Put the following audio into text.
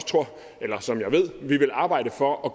som jeg ved at vi vil arbejde for at